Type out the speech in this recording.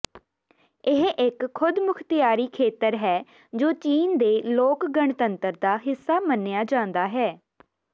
ਇਹ ਇਕ ਖੁਦਮੁਖਤਿਆਰੀ ਖੇਤਰ ਹੈ ਜੋ ਚੀਨ ਦੇ ਲੋਕ ਗਣਤੰਤਰ ਦਾ ਹਿੱਸਾ ਮੰਨਿਆ ਜਾਂਦਾ ਹੈ